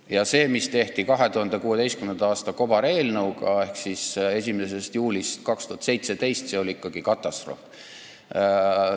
Ning see, mis tehti 2016. aasta kobareelnõuga ehk käivitati 1. juulil 2017, oli katastroof.